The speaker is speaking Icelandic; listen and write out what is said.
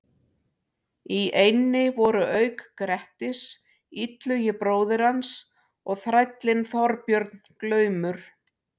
Í eynni voru auk Grettis, Illugi bróðir hans og þrællinn Þorbjörn glaumur.